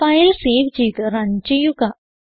file save ചെയ്ത് run ചെയ്യുക